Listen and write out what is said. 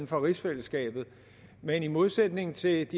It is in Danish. for rigsfællesskabet uanset uanset